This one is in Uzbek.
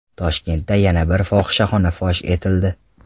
Toshkentda yana bir fohishaxona fosh etildi.